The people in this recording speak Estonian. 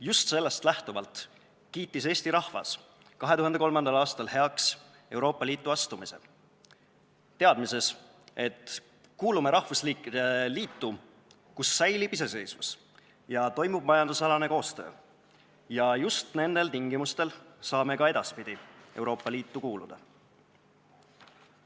Just sellest lähtuvalt kiitis Eesti rahvas 2003. aastal heaks Euroopa Liitu astumise, teadmises, et kuulume rahvusriikide liitu, kus säilib iseseisvus ja toimub majanduskoostöö, ja just nendel tingimustel saame ka edaspidi Euroopa Liitu kuuluda.